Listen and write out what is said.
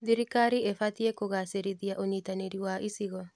Thirikari ĩbatiĩ kũgacĩrithia ũnyitanĩri wa icigo.